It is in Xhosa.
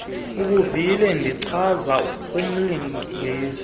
ubuvile ndichaza kumlungisi